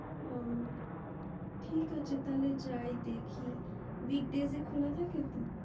ও ঠিক আছে তালে যাই দেখি weekday তে খোলা থাকে তো